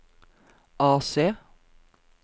AC